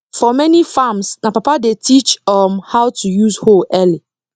for many farms na papa dey teach um how to use hoe early